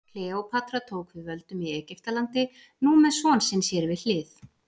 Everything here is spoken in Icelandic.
Kleópatra tók við völdum í Egyptalandi, nú með son sinn sér við hlið.